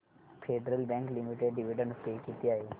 federal Bank Limited dividend pay किती आहे